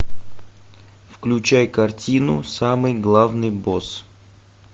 включай картину самый главный босс